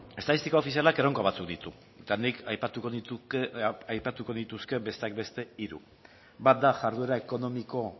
estatistika ofizialak erronka batzuk ditu eta nik aipatuko nituzke besteak beste hiru bat da jarduera ekonomiko